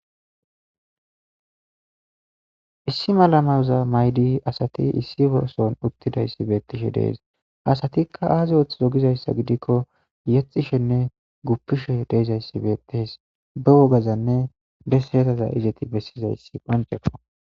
Issi malamaza maydi asati issi orson uttidayssi beettishe dees asatikka aazi oth zogizayssa gidikko yexishenne guppishe deezayssi beettes be wogazanne besretaza izeti bessizayssi qonceko.